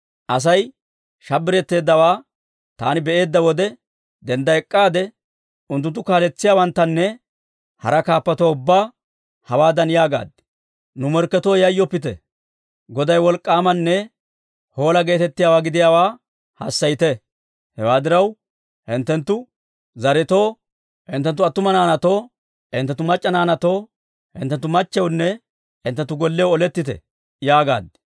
Asay shabbiretteeddawaa taani be'eedda wode, dendda ek'k'aade, unttuntta, unttunttu kaaletsiyaawanttanne hara kaappatuwaa ubbaa hawaadan yaagaad; «Nu morkketoo yayyoppite! Goday wolk'k'aamanne hoola geetettiyaawaa gidiyaawaa hassayite. Hewaa diraw, hinttenttu zaretoo, hinttenttu attuma naanaatoo, hinttenttu mac'c'a naanaatoo, hinttenttu machchiyawunne hinttenttu golliyaw olettite» yaagaad.